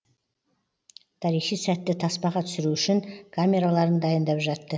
тарихи сәтті таспаға түсіру үшін камераларын дайындап жатты